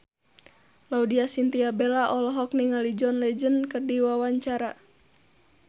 Laudya Chintya Bella olohok ningali John Legend keur diwawancara